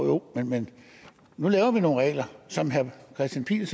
jo men nu laver vi nogle regler som herre kristian pihl